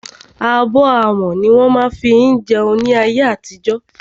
Abọ́ amọ̀ ní wọ́n má ń fí jẹun ní ayé àtijọ́.